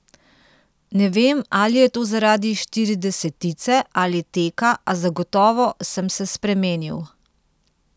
Ne vem ali je to zaradi štiridesetice ali teka, a zagotovo sem se spremenil.